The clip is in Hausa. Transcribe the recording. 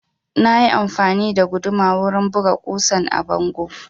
Na yi amfani da guduma wurin buga ƙusan a bango